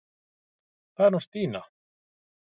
Það er hún Stína.